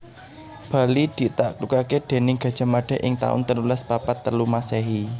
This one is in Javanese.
Bali ditaklukaké déning Gajah Mada ing taun telulas papat telu Masèhi